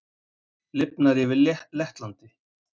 Lifnar yfir Lettlandi